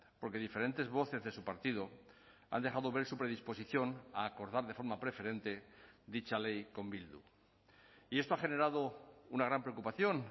porque diferentes voces de su partido han dejado ver su predisposición a acordar de forma preferente dicha ley con bildu y esto ha generado una gran preocupación